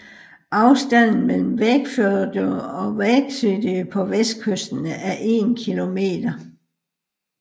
Afstanden mellem Vágsfjørður og Vágseiði på vestkysten er 1 km